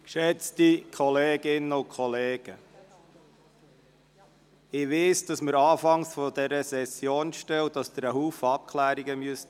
Ich weiss, dass wir am Anfang dieser Session stehen und Sie viele Abklärungen treffen müssen.